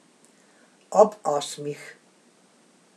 Ob osmih.